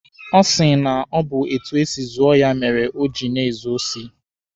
Ọ sị na ọ bụ etu esi zụọ ya mere oji na-ezu osi.